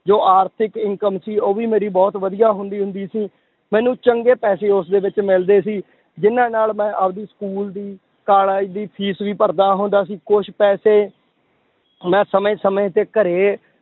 ਜੋ ਆਰਥਿਕ income ਸੀ ਉਹ ਵੀ ਮੇਰੀ ਬਹੁਤ ਵਧੀਆ ਹੁੰਦੀ ਹੁੰਦੀ ਸੀ, ਮੈਨੂੰ ਚੰਗੇ ਪੈਸੇ ਉਸਦੇ ਵਿੱਚ ਮਿਲਦੇ ਸੀ, ਜਿੰਨਾਂ ਨਾਲ ਮੈਂ ਆਪਦੀ school ਦੀ college ਦੀ fees ਵੀ ਭਰਦਾ ਹੁੰਦਾ ਸੀ, ਕੁਛ ਪੈਸੇ ਮੈਂ ਸਮੇਂ ਸਮੇਂ ਤੇ ਘਰੇ